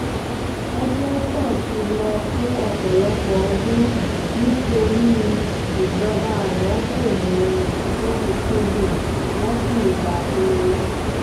opmesa ti lọ fún ọ̀pọ̀lọpọ̀ ọdún nítorí ìjọba àná kò mú un lọ́kùn-ún-kúndùn wọ́n sì dá a dúró